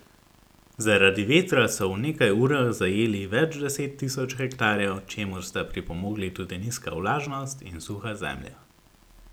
Zaradi vetra so v nekaj urah zajeli več deset tisoč hektarjev, čemur sta pripomogli tudi nizka vlažnost in suha zemlja.